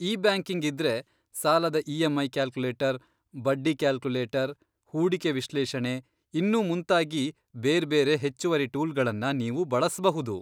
E banking ಇದ್ರೆ, ಸಾಲದ EMI calculator, ಬಡ್ಡಿ ಕ್ಯಾಲ್ಕುಲೇಟರ್, ಹೂಡಿಕೆ ವಿಶ್ಲೇಷಣೆ ಇನ್ನೂ ಮುಂತಾಗಿ ಬೇರ್ಬೇರೆ ಹೆಚ್ಚುವರಿ ಟೂಲ್ಗಳನ್ನ ನೀವು ಬಳಸ್ಬಹುದು.